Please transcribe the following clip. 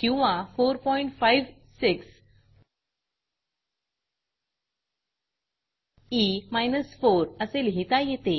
किंवा 456ई 4 असे लिहिता येते